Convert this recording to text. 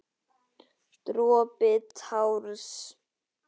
Dropi társ.